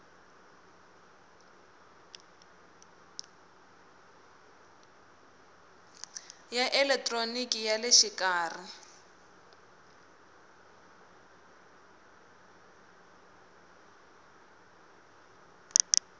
ya elekitroniki ya le xikarhi